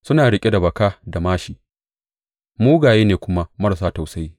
Suna riƙe da baka da māshi; mugaye ne kuma marasa tausayi.